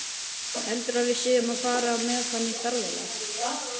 Heldurðu að við séum að fara með hann í ferðalag?